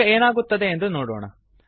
ಈಗ ಏನಾಗುತ್ತದೆ ಎಂದು ನೋಡೋಣ